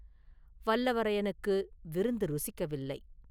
வல்லவரையனுக்கு விருந்து ருசிக்கவில்லை.